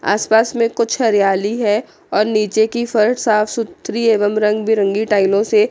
आसपास में कुछ हरियाली है और नीचे की फर्श साफ सुथरी एवं रंग बिरंगी टाइलों से--